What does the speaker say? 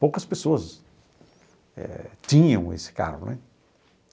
Poucas pessoas eh tinham esse carro, né?